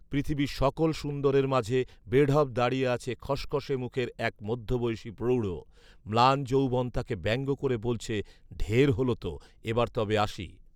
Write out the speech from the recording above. পৃথিবীর সকল সুন্দরের মাঝে বেঢপ দাঁড়িয়ে আছে খসখসে মুখের এক মধ্যবয়সী প্রৌঢ়। ম্লান যৌবন তাকে ব্যঙ্গ করে বলছে, “ঢের হলো তো, এবার তবে আসি”